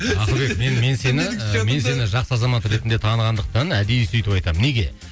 ақылбек мен мен сені мен сені жақсы азамат ретінді танығандықтан әдейі сөйтіп айтамын неге